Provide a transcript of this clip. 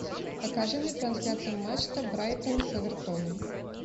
покажи мне трансляцию матча брайтон с эвертоном